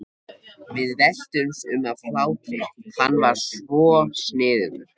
Við veltumst um af hlátri, hann var svo sniðugur.